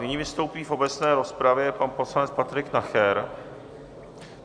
Nyní vystoupí v obecné rozpravě pan poslanec Patrik Nacher.